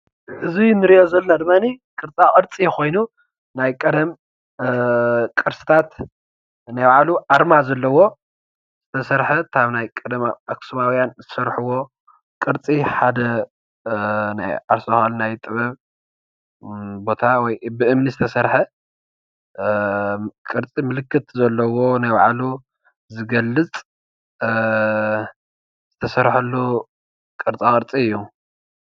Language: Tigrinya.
እዚ ንርእዮ ዘለና ድማኒ ቅርፃ ቅርፂ ኮይኑ ናይ ቀደም ቅርስታት ናይ ባዕሉ ኣርማ ዘለዎ ዝተሰርሐ ካብ ናይ ቀደም ኣክስማውያን ዝሰርሕዎ ቅርፂ ሓደ ናይ ዓርሱ ዝከኣለ ናይ ጥበብ ቦታ ወይ ብእምኒ ዝተሰርሐ ቅርፂ ምልክት ዘለዎ ናይ ባዕሉ ዝገልፅ ዝተሰርሐሉ ቅርፃ ቅርፂ እዩ።